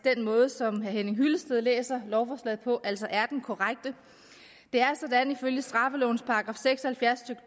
at den måde som herre henning hyllested læser lovforslaget på altså er den korrekte det er sådan ifølge straffelovens § seks og halvfjerds